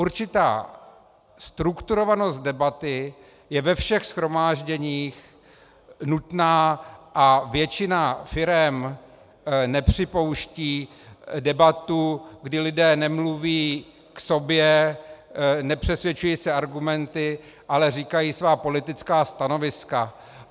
Určitá strukturovanost debaty je ve všech shromážděních nutná a většina firem nepřipouští debatu, kdy lidé nemluví k sobě, nepřesvědčují se argumenty, ale říkají svá politická stanoviska.